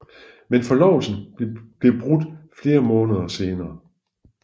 Men forlovelsen blev brudt flere måneder senere